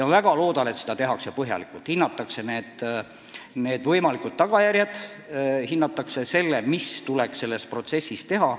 Ma väga loodan, et seda tehakse põhjalikult, hinnatakse võimalikke tagajärgi, hinnatakse, mida tuleks selles protsessis teha.